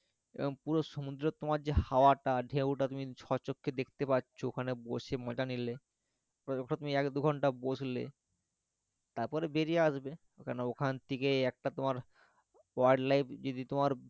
এরকম পুরো সমুদ্রের তোমার যে হাওয়া টা ঢেউ টা তুমি স্বচক্ষ্যে দেখতে পাচ্ছ ওখানে বসে মজা নিলে ওখানে তুমি এক দু ঘণ্টা বসলে তারপরে বেরিয়ে আসবে ওখান থেকেই একটা তোমার wild life যদি তোমার,